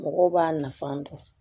Mɔgɔw b'a nafa dɔn